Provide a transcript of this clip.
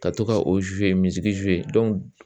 Ka to ka o